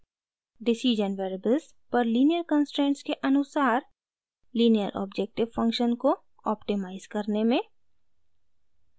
decision variables पर linear constraints के अनुसार लीनियर ऑब्जेक्टिव फंक्शन को ऑप्टिमाइज़ करने में